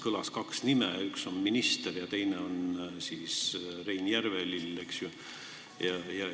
Kõlas vaid kaks nime: üks on minister ja teine on Rein Järvelill, eks ju.